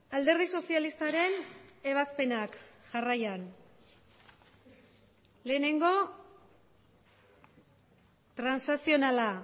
alderdi sozialistaren ebazpenak jarraian lehenengo transakzionala